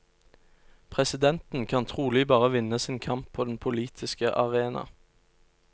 Presidenten kan trolig bare vinne sin kamp på den politiske arena.